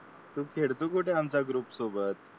तू खेळतो कुठे आमचा ग्रुप सोबत